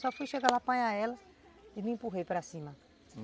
Só fui chegar lá, apanhar ela e me empurrei para cima.